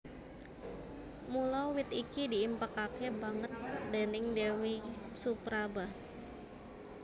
Mula wit iki diimpékaké banget déning Déwi Supraba